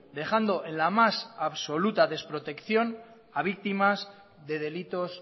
dejando en la más absoluta desprotección a víctimas de delitos